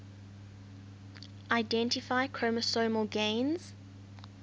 identify chromosomal gains